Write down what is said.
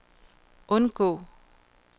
undgå